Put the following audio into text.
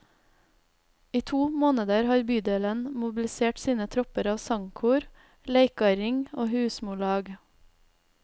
I to måneder har bydelen mobilisert sine tropper av sangkor, leikarring og husmorlag.